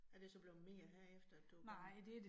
Er det så blevet mere herefter du kommet